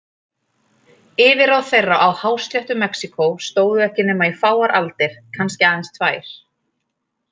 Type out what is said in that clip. Yfirráð þeirra á hásléttu Mexíkó stóðu ekki nema í fáar aldir, kannski aðeins tvær.